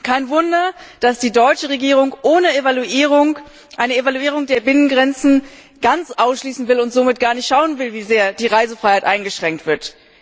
Kein Wunder, dass die deutsche Regierung eine Evaluierung der Binnengrenzen ganz ausschließen will und somit gar nicht schauen will, wie sehr die Reisefreiheit eingeschränkt wird.